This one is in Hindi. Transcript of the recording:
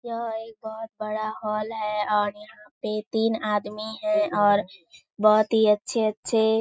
एक बहुत बड़ा हॉल है और यहाँ पे तीन आदमी हैं और बहुत ही अच्छे-अच्छे --